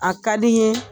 A ka di n ye